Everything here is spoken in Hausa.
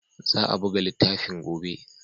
Za a buga littafin gobe.